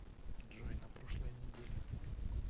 джой на прошлой неделе